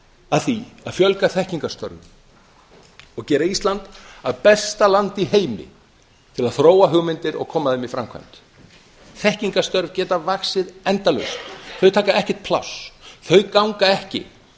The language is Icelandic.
að því að fjölga þekkingarstörfum og gera ísland að besta landi í heimi til að þróa hugmyndir og koma þeim í framkvæmd þekkingarstörf geta vaxið endalaust þau taka ekkert pláss þau ganga ekki